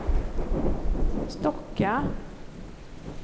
Stocka